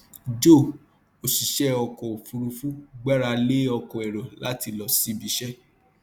joe òṣìṣẹ ọkọ òfuurufú gbára lé ọkọ èrò láti lọ síbi iṣẹ